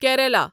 Kerala